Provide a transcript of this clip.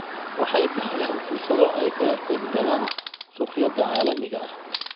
Waxay bixiyaan fursado ay kaga qaybgalaan suuqyada caalamiga ah.